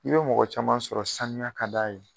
I be mɔgɔ caman sɔrɔ sanuya ka d'a ye